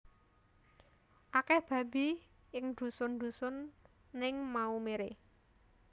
Akeh babi ing dusun dusun ning Maumere